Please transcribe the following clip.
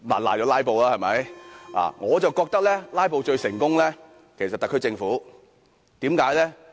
可是，我認為"拉布"最成功的其實是特區政府。